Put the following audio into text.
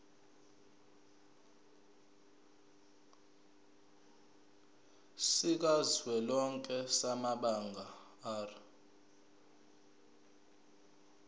sikazwelonke samabanga r